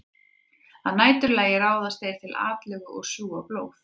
Að næturlagi ráðast þeir til atlögu og sjúga blóð.